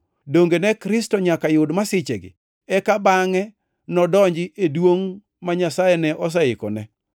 Donge ne Kristo nyaka yud masichegi eka bangʼe nodonji e duongʼ ma Nyasaye ne oseikone?”